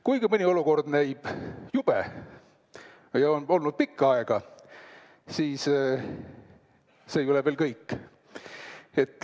Kuigi mõni olukord näib jube või on nii olnud pikka aega, siis see ei ole veel lõpp.